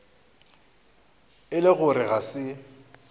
e le gore ga se